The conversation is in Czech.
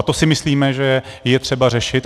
A to si myslíme, že je třeba řešit.